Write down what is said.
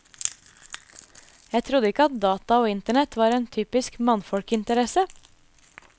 Jeg trodde ikke at data og internett var en typisk mannfolkinteresse.